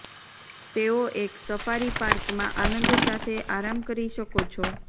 તેઓ એક સફારી પાર્કમાં આનંદ સાથે આરામ કરી શકો છો